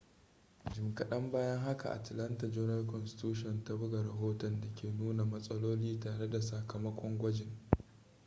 jim kaɗan bayan haka atlanta journal-constitution ta buga rahoton da ke nuna matsaloli tare da sakamakon gwajin